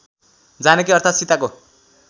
जानकी अर्थात् सीताको